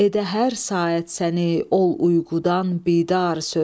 edə hər saat səni ol uyqudan bidar söz.